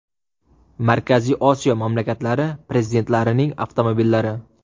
Markaziy Osiyo mamlakatlari prezidentlarining avtomobillari .